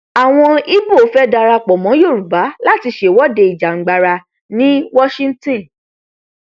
àwọn ibo fẹẹ darapọ mọ yorùbá láti ṣèwọde ìjàngbara ní washington